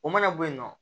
O mana bɔ yen nɔ